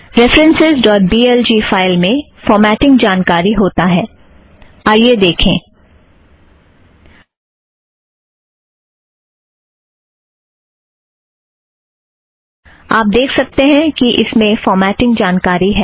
references dot B L G में formatting जानकारी होता है आइए देखें - आप देख सकतें हैं कि इसमें फ़ॉर्माटींग जानकारी है